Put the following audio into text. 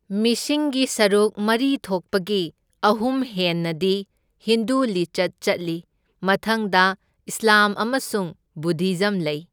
ꯃꯤꯁꯤꯡꯒꯤ ꯁꯔꯨꯛ ꯃꯔꯤ ꯊꯣꯛꯄꯒꯤ ꯑꯍꯨꯝ ꯍꯦꯟꯅꯗꯤ ꯍꯤꯟꯗꯨ ꯂꯤꯆꯠ ꯆꯠꯂꯤ, ꯃꯊꯪꯗ ꯏꯁ꯭ꯂꯥꯝ ꯑꯃꯁꯨꯡ ꯕꯨꯙꯤꯖꯝ ꯂꯩ꯫